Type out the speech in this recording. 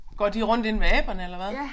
Går de rundt inde ved aberne eller hvad